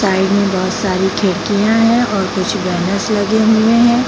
Side में बहुत सारी खिड़कियां हैं और कुछ गणेश लगे हुए हैं।